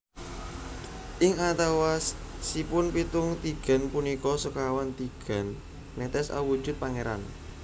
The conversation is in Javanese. Ing antawisipun pitung tigan punika sekawan tigan netes awujud pangéran